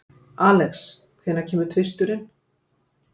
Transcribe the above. Alex, hvenær kemur tvisturinn?